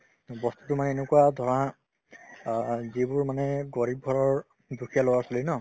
বস্তুতো মানে এনেকুৱা ধৰা অ যিবোৰ মানে গৰীৱ ঘৰৰ দুখীয়া ল'ৰা-ছোৱালী ন